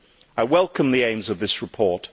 I welcome the aims of this report.